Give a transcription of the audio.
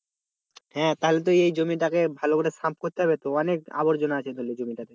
হ্যাঁ তাহলে তো এই জমি টা কে ভাল করে সাফ করতে হবে তো অনেক আবরজনা আছে জমি টা তে